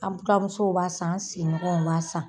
An buranmusow b'a san , an sigiɲɔgɔw b'a san.